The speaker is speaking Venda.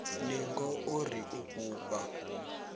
ningo o ri u fhufha